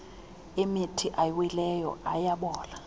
emithi awileyo ayabola